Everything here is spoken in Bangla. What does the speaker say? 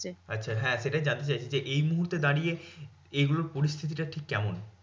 আচ্ছা হ্যাঁ সেটাই জানতে চাইছি যে, এই মুহূর্তে দাঁড়িয়ে এগুলোর পরিস্থিতিটা ঠিক কেমন?